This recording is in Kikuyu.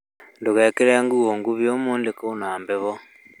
ndũgekĩre nguo nguhĩ ũmũthĩ kwĩna heho